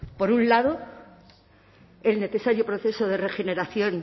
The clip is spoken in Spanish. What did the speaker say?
por un lado el necesario proceso de regeneración